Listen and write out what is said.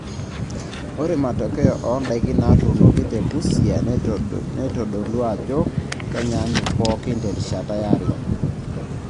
Ore matokeo oondaiki naatuunoki te Busia neitodolua ajo kenyaanyuk pooki terishata yare.